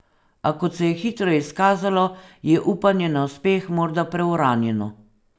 A kot se je hitro izkazalo, je upanje na uspeh morda preuranjeno.